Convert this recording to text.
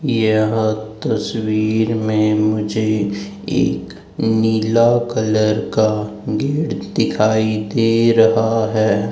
यह तस्वीर में मुझे एक नीला कलर का गेट दिखाई दे रहा है।